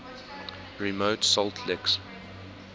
remote salt licks